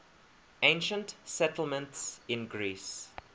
ancient settlements in greece